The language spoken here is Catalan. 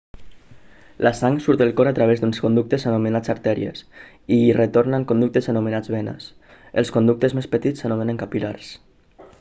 la sang surt del cor a través d'uns conductes anomenats artèries i hi retorna en conductes anomenats venes els conductes més petits s'anomenen capil·lars